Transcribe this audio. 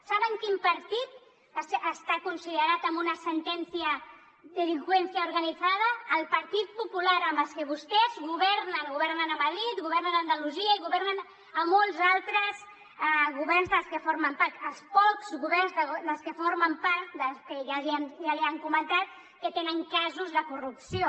saben quin partit està considerat amb una sentència delincuencia organizada el partit popular amb els que vostès governen governen a madrid governen a andalusia i governen a molts altres governs dels que formen part els pocs governs dels que formen part dels que ja li han comentat que tenen casos de corrupció